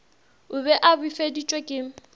o be a befeditšwe ke